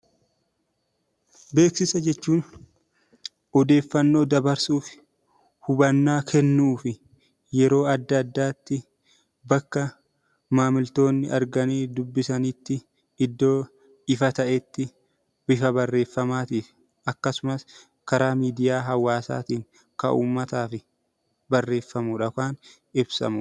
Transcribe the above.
Beeksisa jechuun odeeffannoo dabarsuuf , hubannaa kennuuf yeroo adda addaatti bakka maamiltoonnii arganii dubbifasanitti iddoo ifa ta'etti bifa barreeffamaa fi akkasumas karaa miidiyaa hawaasaatiin kan uummataaf barreeffamuun ibsamudha.